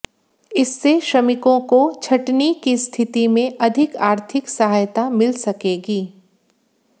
इससे श्रमिकों को छंटनी की स्थिति में अधिक आर्थिक सहायता मिल सकेगी